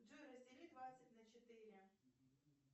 джой раздели двадцать на четыре